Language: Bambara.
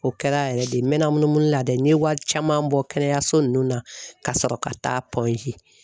O kɛra yɛrɛ de n mɛna munumunu la dɛɛ, n ye wari caman bɔ kɛnɛyaso ninnu na ka sɔrɔ ka taa